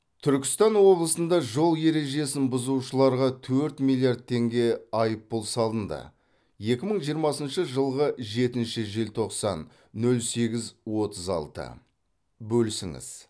түркістан облысында жол ережесін бұзушыларға төрт миллиард теңге айыппұл салынды екімың жиырмасыншы жылғы жетінші желтоқсан нөл сегіз отыз алты бөлісіңіз